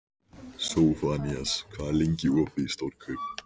Sophanías, hvað er lengi opið í Stórkaup?